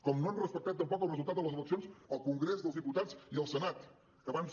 com no han respectat tampoc el resultat de les eleccions al congrés dels diputats i al senat que van ser